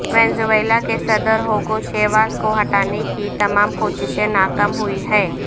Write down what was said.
Venezuela کے صدر Hugo Chavez کو ہٹانے کی تمام کوششیں ناکام ہوئی ہیں